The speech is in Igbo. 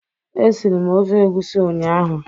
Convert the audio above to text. E siri m ofe egusi ụnyaahụ.